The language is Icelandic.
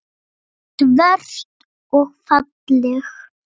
Svört og falleg.